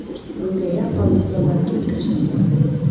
Bunga yaqqol misollar keltirish mumkin.